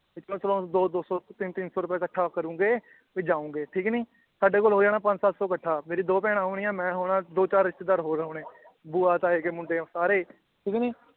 ਚਲੋ ਦੋ ਦੋ ਸੌ ਤਿੰਨ ਤਿੰਨ ਸੌ ਰੁਪਯਾ ਕਠ੍ਹਾ ਕਰੂਂਗੇ ਵੀ ਜਾਉਂਗੇ ਠੀਕ ਨੀ ਸਾਡੇ ਕੋਲ ਹੋ ਜਾਣਾ ਪੰਜ ਸੱਤ ਸੌ ਕਠ੍ਹਾ ਮੇਰੀ ਦੋ ਭੈਣਾਂ ਹੋਣੀਆਂ ਮੈ ਹੋਣਾ ਦੋ ਚਾਰ ਰਿਸ਼ਤੇਦਾਰ ਹੋਰ ਹੋਣੇ ਬੁਆ ਤਾਏ ਕੇ ਮੁੰਡੇ ਸਾਰੇ ਈ ਠੀਕ ਨੀ